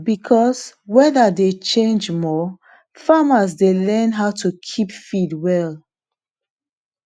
because weather dey change more farmers dey learn how to keep feed well